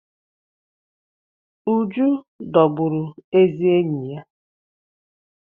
Uju dọgbụrụ ezi enyi ya.